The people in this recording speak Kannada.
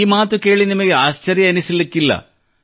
ಈ ಮಾತು ಕೇಳಿ ನಿಮಗೆ ಆಶ್ಚರ್ಯವೆನ್ನಿಸಲಿಕ್ಕಿಲ್ಲ